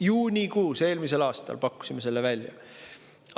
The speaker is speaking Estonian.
Juunikuus eelmisel aastal pakkusime selle välja!